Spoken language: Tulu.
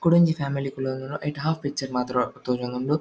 ಕುಡೊಂಜಿ ಫ್ಯಾಮಿಲಿ ಕುಲೊಂದುಂಡು ಐಟ್ ಹಾಫ್ ಪಿಕ್ಚರ್ ಮಾತ್ರ ತೋಜೊಂದುಂಡು.